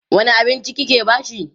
wani abinci kike bashi?